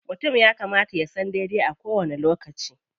Mutum ya kamata ya san daidai a kowani lokaci.